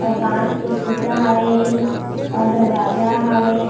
अऊ कांच के शीशा हवे अऊ दरवाजा हवे।